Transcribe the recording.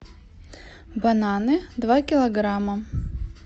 бананы два килограмма